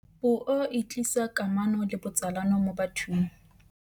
puo e tlisa kamano le botsalano mo bathong